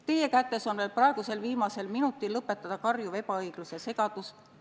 Teie kätes on veel praegusel viimasel minutil lõpetada karjuv ebaõiglus ja segadus.